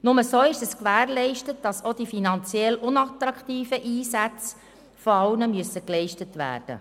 Nur so ist gewährleistet, dass auch die finanziell unattraktiven Einsätze von allen übernommen werden.